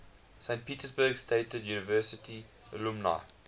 saint petersburg state university alumni